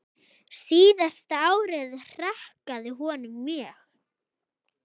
Síðasta árið hrakaði honum mjög.